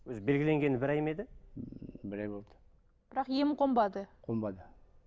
өзі белгіленгені бір ай ма еді бір ай болды бірақ ем қонбады қонбады